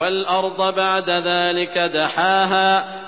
وَالْأَرْضَ بَعْدَ ذَٰلِكَ دَحَاهَا